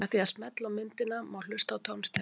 Með því að smella á myndina má hlusta á tónstigann.